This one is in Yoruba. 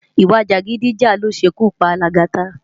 Iwá-jágidijá ló ṣé kú pá Lagata